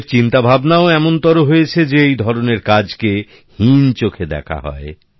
আমাদের চিন্তা ভাবনাও এমন হয়েছে যে এই ধরনের কাজকে হীন চোখে দেখা হয়